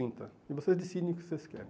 E vocês decidem o que vocês querem.